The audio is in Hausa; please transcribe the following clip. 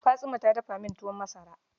Fatsuma ta dafa min tuwon masara.